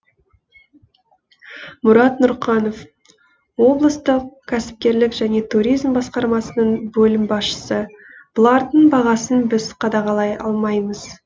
мұрат нұрқанов облыстық кәсіпкерлік және туризм басқармасының бөлім басшысы бұлардың бағасын біз қадағалай алмаймыз